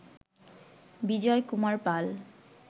বিজয় Kumar পাল